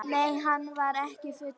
Nei, hann var ekki fullur.